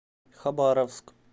хабаровск